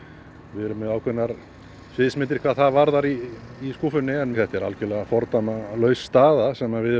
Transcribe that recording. við erum með ákveðnar sviðsmyndir hvað það varðar í í skúffunni þetta er algerlega fordæmalaus staða sem við